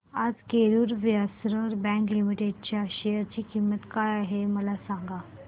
आज Karur Vysya bank limited च्या share ची किंमत काय आहे मला सांगा